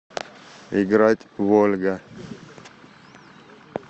играть в ольга